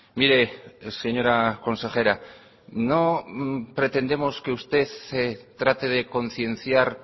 mire señora consejera no pretendemos que usted trate de concienciar